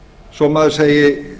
svo maður segi